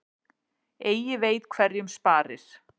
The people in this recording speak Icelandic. Eigi veit hverjum sparir.